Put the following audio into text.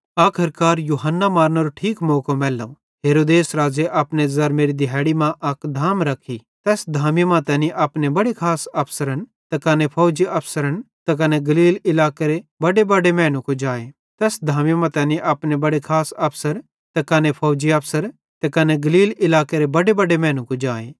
आखर्कार यूहन्ना मारनेरो ठीक मौको मैल्लो हेरोदेस राज़े अपने ज़रमेरी दिहाड़ी मां अक धाम रखी तैस धामी मां तैनी अपने बड़े खास अफसरन त कने फौजी अफसरन त कने गलील इलाकेरे बड्डेबड्डे मैनू कुजाए